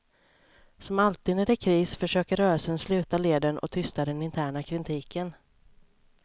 Som alltid när det är kris försöker rörelsen sluta leden och tysta den interna kritiken.